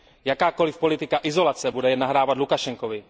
Jakákoliv politika izolace bude jen nahrávat Lukašenkovi.